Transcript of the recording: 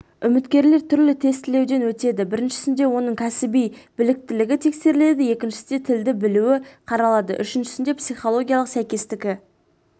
үміткерлер түрлі тестілеуден өтеді біріншісінде оның кәсіби біліктілігі тексеріледі екіншісінде тілді білуі қаралады үшіншісінде психологиялық сәйкестігі